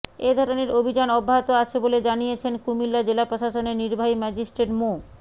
এ ধরনের অভিযান অব্যাহত আছে বলে জানিয়েছেন কুমিল্লা জেলা প্রশাসনের নির্বাহী ম্যাজিস্ট্রেট মো